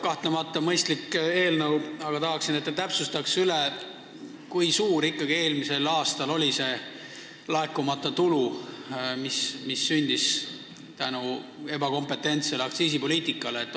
Kahtlemata on see mõistlik eelnõu, aga tahaksin, et te täpsustaksite, kui suur ikkagi oli eelmisel aastal see laekumata tulu, mis sündis ebakompetentse aktsiisipoliitika tõttu.